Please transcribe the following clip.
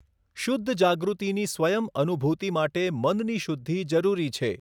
શુદ્ધ જાગૃતિની સ્વયં અનુભૂતિ માટે મનની શુદ્ધિ જરૂરી છે.